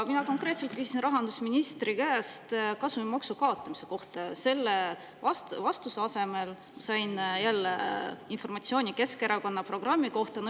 Mina konkreetselt küsisin rahandusministri käest kasumimaksu kaotamise kohta, vastuse asemel sain jälle informatsiooni Keskerakonna programmi kohta.